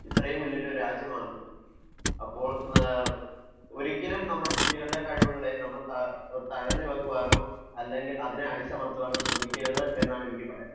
ഇത്രയും വലിയ ഒരു രാജ്യമാണ് . അപ്പോൾ ഒരിക്കലും നമ്മുടെ കുട്ടികളുടെ കഴിവുകളെ തടഞ്ഞു വെക്കാനോ അതിനെ അടിച്ചമർത്താനോ ശ്രമിക്കരുത് എന്നാണ് എനിക്ക് പറയാനുള്ളത്